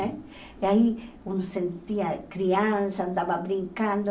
Né? E aí, quando sentia criança, andava brincando,